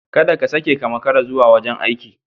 Kada ka sake ka makara zuwa wajen aiki.